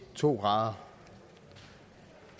to grader